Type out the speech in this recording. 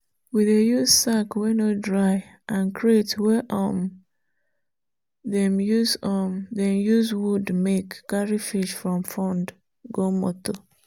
we dey use sack wey no dry and crate wey um dem use um wood make carry fish from pond go motor.